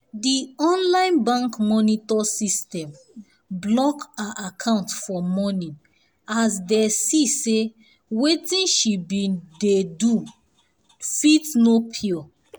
the online bank monitor system block her account for morning as dey see say wetin she been dey do do fit no pure